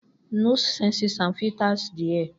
Nose senses and filters the air. ì